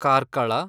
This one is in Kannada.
ಕಾರ್ಕಳ